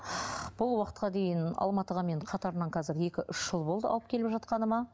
бұл уақытқа дейін алматыға мен қатарынан қазір екі үш жыл болды алып келіп жатқаныма